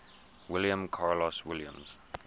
william carlos williams